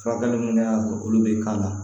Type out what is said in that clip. Furakɛli min kɛra olu bɛ k'a la